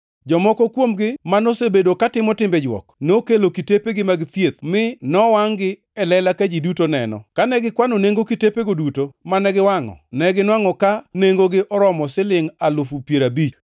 Jomoko kuomgi manosebedo katimo timbe jwok nokelo kitepegi mag thieth mi nowangʼ-gi e lela ka ji duto neno. Kane gikwano nengo kitepego duto mane giwangʼo, neginwangʼo ka nengogi oromo silingʼ alufu piero abich.